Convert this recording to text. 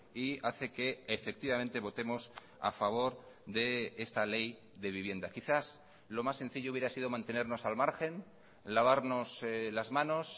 y hace que efectivamente votemos a favor de esta ley de vivienda quizás lo más sencillo hubiera sido mantenernos al margen lavarnos las manos